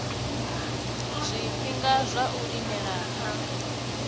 zwifhinga zwa u lindela a